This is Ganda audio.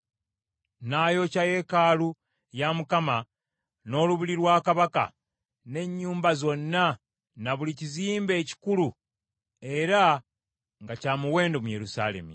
N’ayokya yeekaalu ya Mukama , n’olubiri lwa kabaka, n’ennyumba zonna na buli kizimbe ekikulu era nga kya muwendo mu Yerusaalemi.